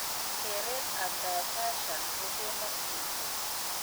Kereet ab dietitian ko kemokyinkee